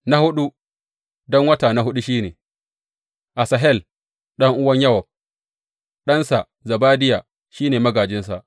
Na huɗu, don wata na huɗu, shi ne Asahel ɗan’uwan Yowab; ɗansa Zebadiya shi ne magājinsa.